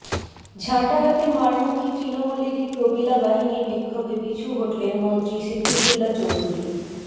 ঝাঁটা হাতে মারমুখী তৃণমূলেরই প্রমীলা বাহিনীর বিক্ষোভে পিছু হঠলেন মন্ত্রী সিদ্দিকুল্লা চৌধুরী